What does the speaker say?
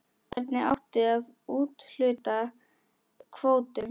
Hvernig átti að úthluta kvótum?